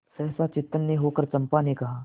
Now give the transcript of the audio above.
सहसा चैतन्य होकर चंपा ने कहा